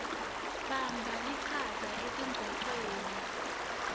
bamba lichaza etingcocweni